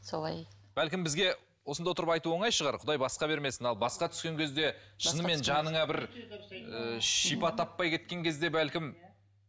солай бәлкім бізге осында отырып айту оңай шығар құдай басқа бермесін ал басқа түскен кезде шынымен жаныңа бір ыыы шипа таппай кеткен кезде бәлкім